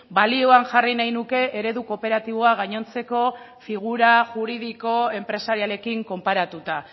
balioan jarri nahi nuke eredu kooperatiboa gainontzeko figura juridiko enpresarialekin konparatuta